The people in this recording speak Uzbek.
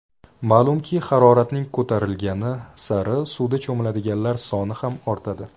Ma’lumki, haroratning ko‘tarilgani sari suvda cho‘miladiganlar soni ham ortadi.